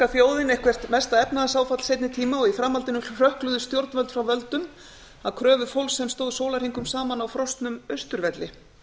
þjóðin eitthvert mesta efnahagsáfall seinni tíma í framhaldinu hrökkluðust stjórnvöld frá völdum að kröfu fólksins sem stóð sólarhringum saman á frosnum austurvelli